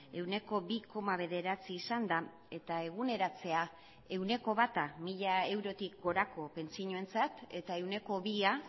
ehuneko bi koma bederatzi izanda eta eguneratzea ehuneko bata mila eurotik gorako pentsioentzat eta ehuneko bia